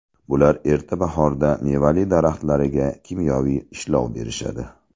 Bular erta bahorda mevali daraxtlariga kimyoviy ishlov berishadi.